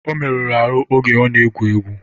Ọ meruru ahụ oge ọ na-egwu egwu